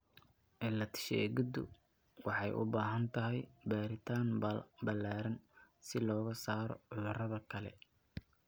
Cilad-sheegiddu waxay u baahan tahay baaritaan ballaaran si looga saaro cudurrada kale.